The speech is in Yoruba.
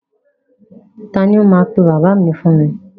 Ta ni ó máa pe bàbá mi fún mi?